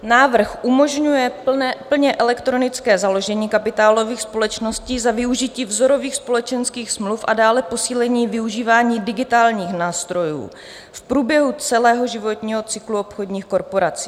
Návrh umožňuje plně elektronické založení kapitálových společností za využití vzorových společenských smluv a dále posílení využívání digitálních nástrojů v průběhu celého životního cyklu obchodních korporací.